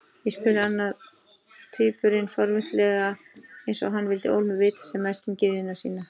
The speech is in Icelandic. spurði annar tvíburinn forvitnislega, eins og hann vildi ólmur vita sem mest um gyðjuna sína.